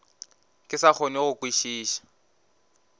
ke sa kgone go kwešiša